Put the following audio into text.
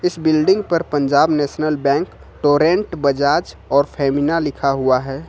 इस बिल्डिंग पर Punjab national bank Torrent Bajaj और फेमिना लिखा हुआ है।